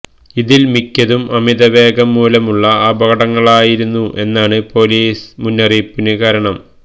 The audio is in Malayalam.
ഇതില് മിക്കതും അമിതവേഗം മൂലമുള്ള അപകടങ്ങളായിരുന്നു എന്നതാണ് പോലീസ് മുന്നറിയിപ്പിന് കാരണം